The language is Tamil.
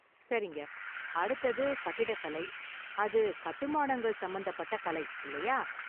சரிங்க​! அடுத்தது கட்டிடக்கலை, அது கட்டுமானங்கள் சம்பந்தப்பட்ட கலை, இல்லையா?